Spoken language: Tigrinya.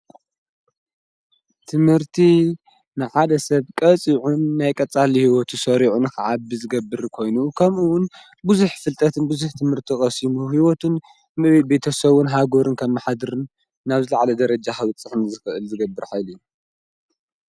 ትምህርቲ ንሃደ ሰብ ቀጺዑን ናይ ቀጻሊ ሕይወቱ ሰሪዑን ኸዓብ ዝገብር ኮይኑኡ ከምኡውን ብዙኅ ፍልጠትን ብዙኅ ትምህርቲ ቐሢሙ ሕይወቱን ም ቤተሠዉን ሃጐርን ከም መኃድርን ናብ ዝለዕለ ደረጃ ኅብጽሕኒ ዝገብርን ኃይሊ እዩ፡፡